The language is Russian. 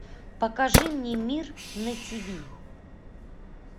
покажи мне мир на тиви